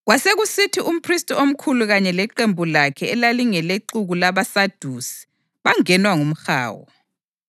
Kwasekusithi umphristi omkhulu kanye leqembu lakhe elalingelexuku labaSadusi bangenwa ngumhawu.